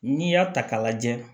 N'i y'a ta k'a lajɛ